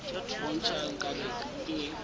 bo ntšha nka be ke